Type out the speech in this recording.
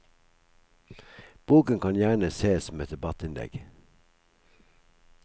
Boken kan gjerne ses som et debattinnlegg.